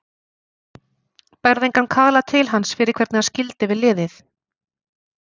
Berðu engan kala til hans fyrir hvernig hann skildi við liðið?